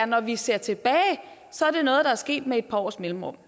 når vi ser tilbage er sket med et par års mellemrum